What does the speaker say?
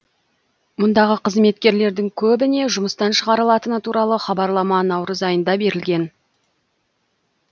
мұндағы қызметкерлердің көбіне жұмыстан шығарылатыны туралы хабарлама наурыз айында берілген